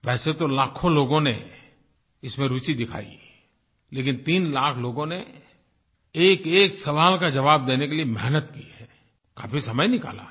वैसे तो लाखों लोगों ने इसमें रूचि दिखाई लेकिन 3 लाख लोगों ने एकएक सवाल का जवाब देने के लिए मेहनत की है काफी समय निकाला है